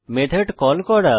method call করা